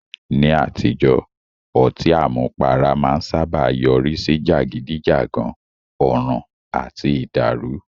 Ní àtijọ́, ọtí àmupara máa ń sáábà yọrí sí jàgídíjàgan, ọ̀ràn àti ìdàrù.